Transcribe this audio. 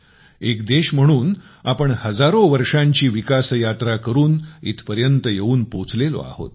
एक देश म्हणून आपण हजारो वर्षांची विकास यात्रा करून इथपर्यंत येऊन पोचलेलो आहोत